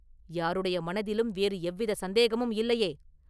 “யாருடைய மனதிலும் வேறு எவ்வித சந்தேகமும் இல்லையே?”